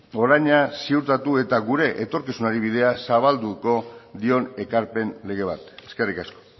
oraina ziurtatu eta gure etorkizunari bidea zabalduko dion ekarpen lege bat eskerrik asko